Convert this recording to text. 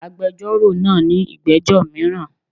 Agbẹjọ́rò náa ní ìgbẹ́jọ́ míràn